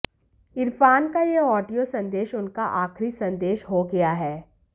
इरफान का ये ऑडियो संदेश उनका आखिरी संदेश हो गया है